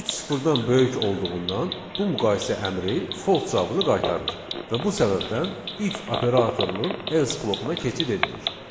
Üç sıfırdan böyük olduğundan bu müqayisə əmri false cavabını qaytarır və bu səbəbdən if operatorunun else blokuna keçid edilir.